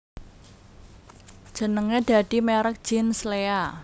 Jenenge dadi merk jeans Lea